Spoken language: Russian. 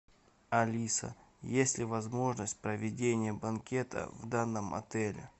алиса есть ли возможность проведения банкета в данном отеле